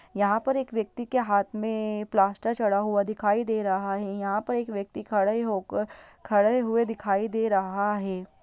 यहां पर एक व्यक्ति के हाथ में प्लास्टर चढ़ा हुआ दिखाई दे रहा है। यहां पर एक व्यक्ति खड़े होकर खड़े हुए दिखाई दे रहा है।